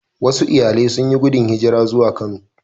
Wasu iyalai sun yi gudun hijira zuwa Kano